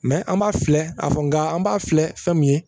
an b'a filɛ a fɔ nga an b'a filɛ fɛn min ye